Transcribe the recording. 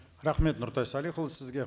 рахмет нұртай салихұлы сізге